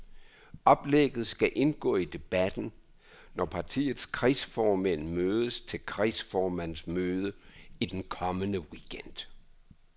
Oplægget skal indgå i debatten, når partiets kredsformænd mødes til kredsformandsmøde i den kommende weekend.